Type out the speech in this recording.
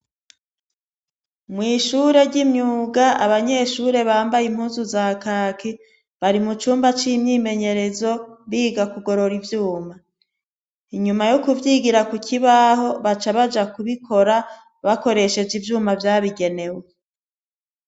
Mw'ishure ry'imyuga abanyeshure bambaye impuzu za kaki bari mu cumba c'imyimenyerezo biga kugorora ivyuma inyuma yo kuvyigira ku kibaho baca baja kubikora bakoresheje ivyuma vyabigenewe.